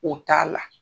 O t'a la